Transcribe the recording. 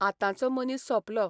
आतांचो मनीस सोंपलों.